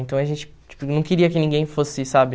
Então, a gente tipo não queria que ninguém fosse, sabe...